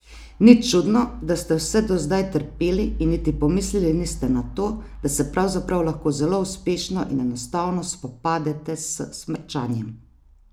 Ni čudno, da ste vse do zdaj trpeli in niti pomislili niste na to, da se pravzaprav lahko zelo uspešno in enostavno spopadete s smrčanjem!